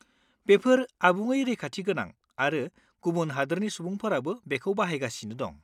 बेफोर आबुङै रैखाथिगोनां आरो गुबुन हादोरनि सुबुंफोराबो बेखौ बाहायगासिनो दं।